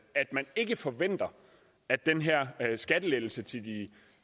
at man ikke forventer at den her skattelettelse til de